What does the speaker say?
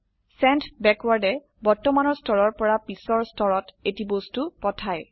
send backward য়ে বৰ্তমানৰ স্তৰৰ পৰা পিছৰ স্তৰত এটি বস্তু পাঠায়